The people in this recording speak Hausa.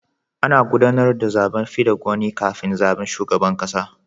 Ana gudanar da zaben fidda gwani kafin zaben shugaban kasa.